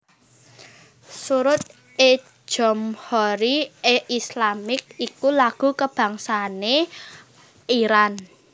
Sorood e Jomhoori e Eslami iku lagu kabangsané Iran